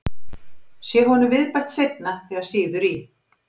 Sé honum viðbætt seinna þegar sýður í,